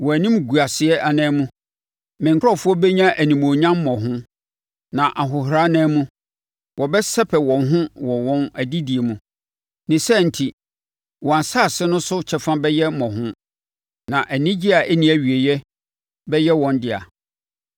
Wɔn animguaseɛ anan mu me nkurɔfoɔ bɛnya animuonyam mmɔho, na ahohora anan mu wɔbɛsɛpɛ wɔn ho wɔ wɔn adedie mu; ne saa enti wɔn asase no so kyɛfa bɛyɛ mmɔho, na anigyeɛ a ɛnni awieeɛ bɛyɛ wɔn dea.